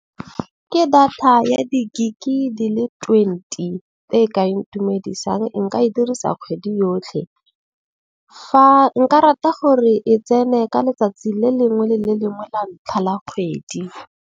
Ke data ya di-gig-e di le twenty e ka ntumedisang e nka e dirisa kgwedi yotlhe. Fa nka rata gore e tsene ka letsatsi le lengwe le le lengwe la ntlha la kgwedi.